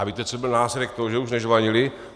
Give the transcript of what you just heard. A víte, co byl následek toho, že už nežvanili?